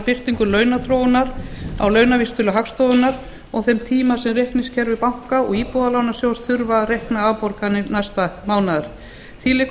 birtingu launaþróunar á launavísitölu hagstofunnar og þeim tíma sem reikningskerfi banka og íbúðalánasjóðs þurfa til að reikna afborganir næsta mánaðar því liggur